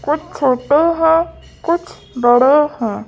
कुछ छोटे है कुछ बड़े हैं।